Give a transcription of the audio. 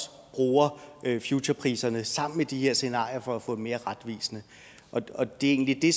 bruger futurepriserne sammen med de her scenarier for at få dem mere retvisende og det er egentlig det